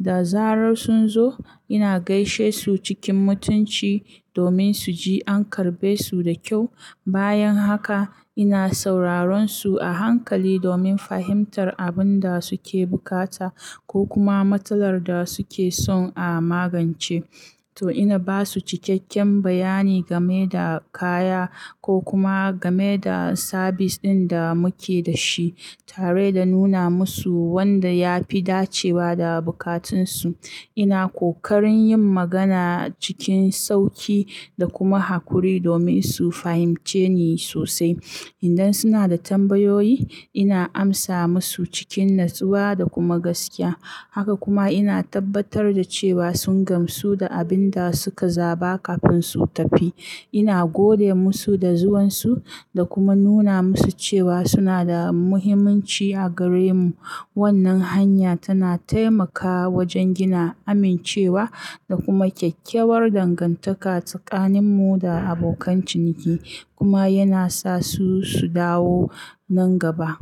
Da zarar sun zo, ina gaishe su cikin mutunci domin su ji an karbe su da kyau. Bayan haka ina sauraron su a hankali domin fahimtar abinda suke bukata ko kuma matsalar da suke son a magance. To ina basu cikakken bayani gameda kaya ko kuma game da sabis ɗinda muke dashi, tareda nuna musu wanda yafi dacewa da bukatunsu. Ina ƙoƙarin yin magana cikin sauƙi da kuma haƙuri domin su fahimce ni sosai. Idan sunada tambayoyi, ina amsa musu cikin natsuwa da kuma gaskiya. Haka kuma ina tabbatar da cewa sun gamsu da abin da suka zaba kafin su tafi. Ina gode musu da zuwansu da kuma nuna musu cewa sunada muhimmanci a garemu. Wannan hanya tana taimakawa wajen gina amincewa da kuma kyakkyawar dangantaka tsakaninmu da abokan ciniki kuma yana sasu su dawo nan gaba.